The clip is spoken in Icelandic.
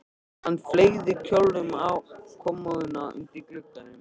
Hann fleygði kjólnum yfir á kommóðuna undir glugganum.